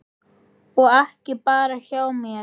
Og ekki bara hjá mér.